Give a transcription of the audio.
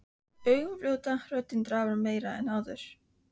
Augun fljóta, röddin drafar meira en áður.